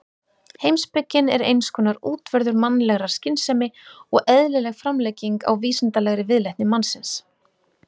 Heimspekin er eins konar útvörður mannlegrar skynsemi og eðlileg framlenging á vísindalegri viðleitni mannsins.